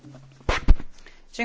Panie przewodniczący!